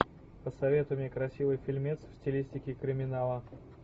посоветуй мне красивый фильмец в стилистике криминала